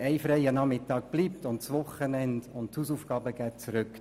Ein freier Nachmittag bleibt, und die Hausaufgaben gehen zurück.